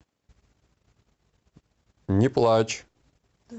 не плачь